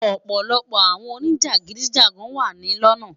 ọpọlọpọ awọn onijagidijagan wa ni lona